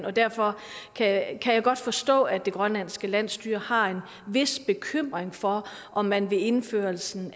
og derfor kan jeg godt forstå at det grønlandske landsstyre har en vis bekymring for om man ved indførelsen